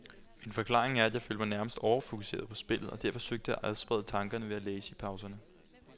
Men forklaringen er, at jeg følte mig nærmest overfokuseret på spillet, og derfor søgte at adsprede tankerne ved at læse i pauserne.